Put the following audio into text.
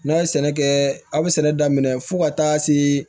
N'a ye sɛnɛ kɛ a bɛ sɛnɛ daminɛ fo ka taa se